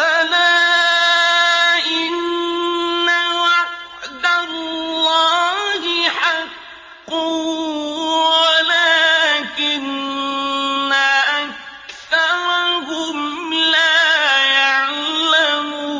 أَلَا إِنَّ وَعْدَ اللَّهِ حَقٌّ وَلَٰكِنَّ أَكْثَرَهُمْ لَا يَعْلَمُونَ